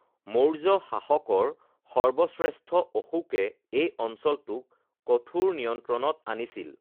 মৌৰ্য্য শাসকৰ সৰ্বশ্ৰেষ্ঠ অশোকে এই অঞ্চলটোক কঠোৰ নিয়ন্ত্ৰণত আনিছিল৷